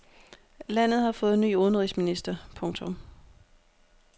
Landet har fået ny udenrigsminister. punktum